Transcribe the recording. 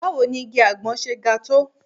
Báwo ni igi àgbọn ṣe ń ga tó?